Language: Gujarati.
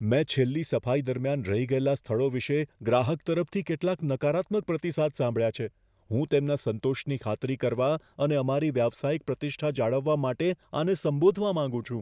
મેં છેલ્લી સફાઈ દરમિયાન રહી ગયેલા સ્થળો વિશે ગ્રાહક તરફથી કેટલાક નકારાત્મક પ્રતિસાદ સાંભળ્યા છે. હું તેમના સંતોષની ખાતરી કરવા અને અમારી વ્યાવસાયિક પ્રતિષ્ઠા જાળવવા માટે આને સંબોધવા માંગુ છું.